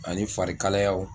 Ani farikalIyaw